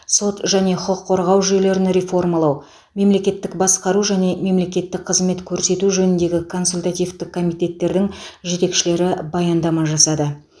сот және құқық қорғау жүйелерін реформалау мемлекеттік басқару және мемлекеттік қызмет көрсету жөніндегі консультативтік комитеттердің жетекшілері баяндама жасады